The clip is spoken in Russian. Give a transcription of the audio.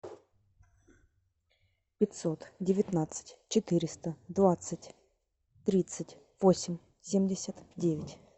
пятьсот девятнадцать четыреста двадцать тридцать восемь семьдесят девять